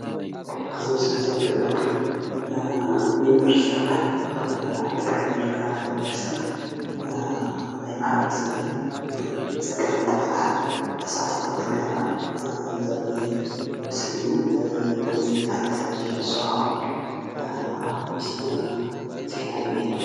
ኣብዚ ምስሊ እዚ እንሪኦ ድማ ዩኒቨርስትታት ኣብ ትግራይ ዝርከባ ዩኒቨርስትታት ናይ ማሕበረ ሰብ ፀገም እንትፈትሓ ተሳትፎ እንትገብራ ዘርኢ ምስሊ እዩ፡፡ ብድምፂ ወያነ ቴለቭዥን ዝሰርሖ ዜና እዩ ዝነሄ ድማ፡፡